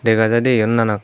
dega jai de yot nanak.